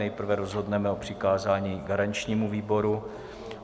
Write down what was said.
Nejprve rozhodneme o přikázání garančnímu výboru.